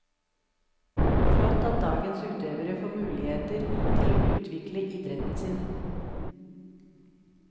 Flott at dagens utøvere får muligheter til å utvikle idretten sin.